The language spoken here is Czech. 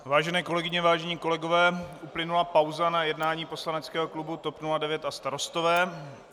Vážené kolegyně, vážení kolegové, uplynula pauza na jednání poslaneckého klubu TOP 09 a Starostové.